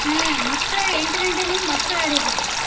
ಹ್ಮ್ ಮಕ್ಳ ಎಂಟ್ ಗಂಟೆಯಿಂದ ಮಕ್ಳ ಆಡಿದಾರ ಅಷ್ಟೇ.